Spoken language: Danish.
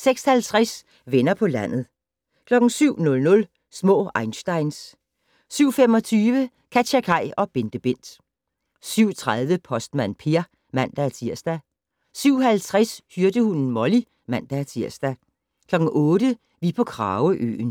06:50: Venner på landet 07:00: Små einsteins 07:25: KatjaKaj og BenteBent 07:30: Postmand Per (man-tir) 07:50: Hyrdehunden Molly (man-tir) 08:00: Vi på Krageøen